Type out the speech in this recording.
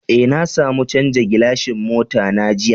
Eh, na samu chanzan gilashin mota na jiya.